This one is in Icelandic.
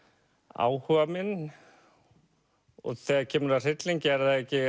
áhuga minn og þegar kemur að hryllingi er það ekki